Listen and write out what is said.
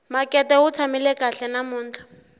makete wu tshamile kahle namuntlha